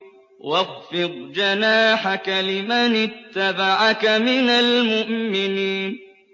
وَاخْفِضْ جَنَاحَكَ لِمَنِ اتَّبَعَكَ مِنَ الْمُؤْمِنِينَ